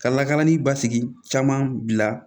Ka lakalanni basigi caman bila